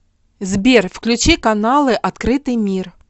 сбер включи каналы открытый мир